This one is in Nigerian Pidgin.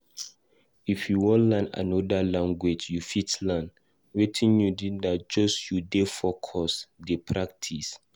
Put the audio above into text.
If u wan learn anoda language, u fit learn, Wetin u need na just make u dey focused dey practise